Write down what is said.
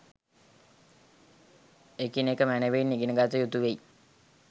එකිනෙක මැනැවින් ඉගෙන ගත යුතු වෙයි